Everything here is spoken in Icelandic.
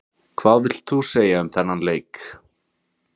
Hvað vilt þú segja um þennan leik?